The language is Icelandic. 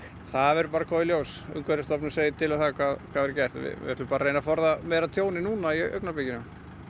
það verður bara að koma í ljós umhverfistofnun segir til um hvað verður gert við ætlum bara að reyna að forða meira tjóni núna í augnablikinu